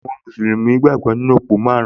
Àwọn mùsùlùmí gbàgbọ́ nínú òpó márùn-ún